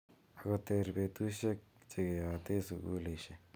Ako ter betushek che ke yate sukulishek.